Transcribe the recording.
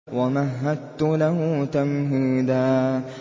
وَمَهَّدتُّ لَهُ تَمْهِيدًا